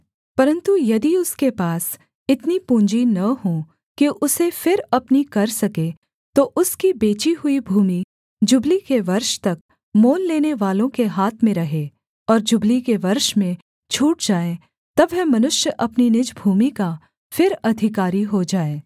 परन्तु यदि उसके पास इतनी पूँजी न हो कि उसे फिर अपनी कर सके तो उसकी बेची हुई भूमि जुबली के वर्ष तक मोल लेनेवालों के हाथ में रहे और जुबली के वर्ष में छूट जाए तब वह मनुष्य अपनी निज भूमि का फिर अधिकारी हो जाए